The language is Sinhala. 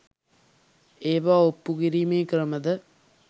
ඒවා ඔප්පු කිරීමේ ක්‍රම ද